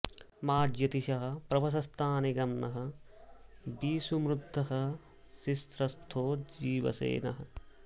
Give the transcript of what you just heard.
मा ज्योति॑षः प्रवस॒थानि॑ गन्म॒ वि षू मृधः॑ शिश्रथो जी॒वसे॑ नः